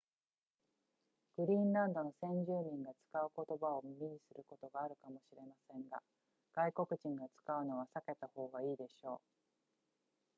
グリーンランドの先住民が使う言葉を耳にすることがあるかもしれませんが外国人が使うのは避けた方がいいでしょう